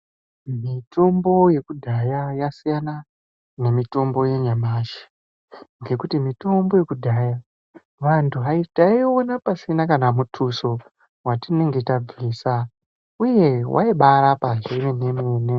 Mitombo yekudhaya yasiyana nemitombo yenyamashi ngekuti mitombo yekudhayaa , vantu vaiii... taiiona pasina kana muthuso watinenge tabvisa uye waibaarapa zvemene- mene.